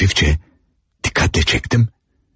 Hafifcə, diqqətlə çəkdim.